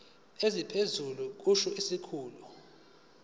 esiphezulu kusho isikhulu